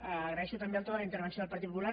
agraeixo també el to de la intervenció del partit popular